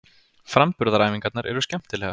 Framburðaræfingarnar eru skemmtilegar.